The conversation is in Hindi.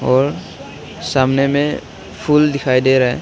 और सामने मे फूल दिखाई दे रहे--